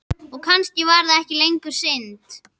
Og kannski var það ekki lengur synd.